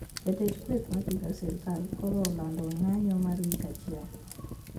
Jatend kweth mapingo sirkal koro olando ng`anyo mar wik achiel